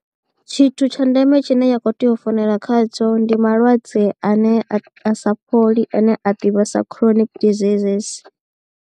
Tshithu tsha ndeme tshine ya khou tea u founela khadzo ndi malwadze ane a sa fholi ane a ḓivhea sa chronic diseases.